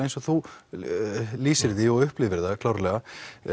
eins og þú lýsir því og upplifir það klárlega